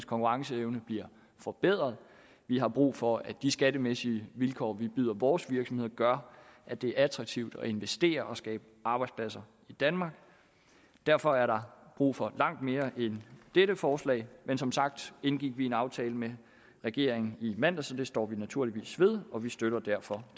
konkurrenceevne bliver forbedret vi har brug for at de skattemæssige vilkår vi byder vores virksomheder gør at det er attraktivt at investere og skabe arbejdspladser i danmark derfor er der brug for langt mere end dette forslag men som sagt indgik vi en aftale med regeringen i mandags og den står vi naturligvis ved og vi støtter derfor